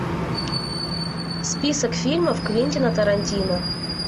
список фильмов квентина тарантино